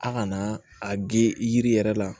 A kana a ge yiri yɛrɛ la